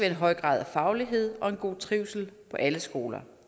en høj grad af faglighed og en god trivsel på alle skoler